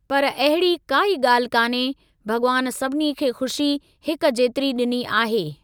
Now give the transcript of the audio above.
पर अहिड़ी काई ॻाल्हि कान्हे, भॻवान सभिनी खे खु़शी हिक जेतिरी ॾिनी आहे।